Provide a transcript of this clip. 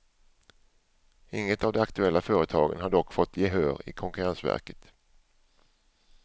Inget av de aktuella företagen har dock fått gehör i konkurrensverket.